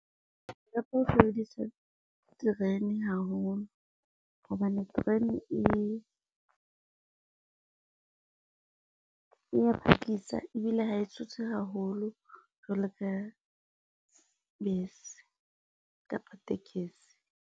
Ke rata ho sebedisa terene haholo hobane terene e ya phakisa ebile ha e tshose haholo jwalo ka, bese kapo tekesi.